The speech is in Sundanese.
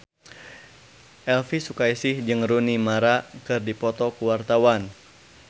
Elvy Sukaesih jeung Rooney Mara keur dipoto ku wartawan